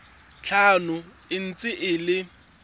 tlhano e ntse e le